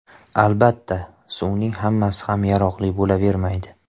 Albatta, suvning hammasi ham yaroqli bo‘lavermaydi.